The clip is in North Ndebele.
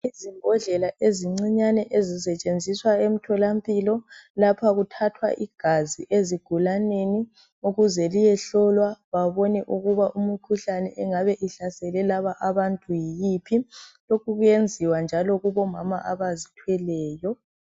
Izimbodlela ezincinyane ezisetshenziswa emtholampilo lapha kuthathwa igazi ezigulaneni ukuze liyehlolwa babone ukuba umkhuhlane engaba ihlasele labo bantu yiphi .Lokhu kuyenziwa njalo lakubomama abazithweleyo .